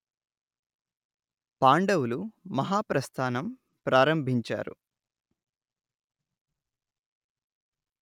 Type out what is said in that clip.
పాండవులు మహాప్రస్థానం ప్రారంభించారు